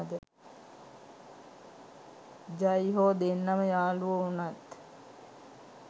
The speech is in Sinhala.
ජයි හෝ දෙන්නම යාළුවො වුනත්